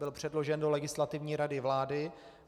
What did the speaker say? Byl předložen do Legislativní rady vlády.